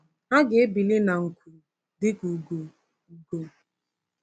Ha ga-ebili na nku dịka ugo. ugo.